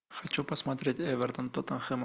хочу посмотреть эвертон тоттенхэм